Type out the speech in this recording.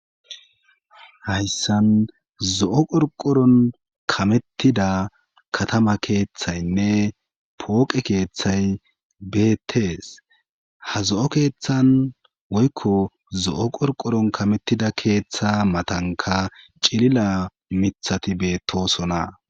Hayssan zo'o qorqoron kamettida katama keeththaynne pooqe keeththay beettees ha zo7o keeththan woykko zo7o qorqoron kamettida keeththa matanka cilila mithati beettosona